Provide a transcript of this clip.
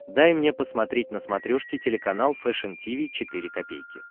дай мне посмотреть на смотрешке телеканал фэшн ти ви четыре ка